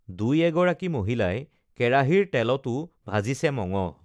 দুই এগৰাকী মহিলাই কেৰাহীৰ তেলটো ভাজিছে মঙহ